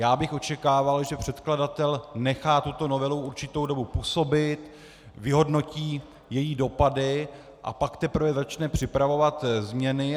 Já bych očekával, že předkladatel nechá tuto novelu určitou dobu působit, vyhodnotí její dopady, a pak teprve začne připravovat změny.